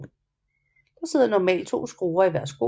Der sidder normalt to skruer i hver sko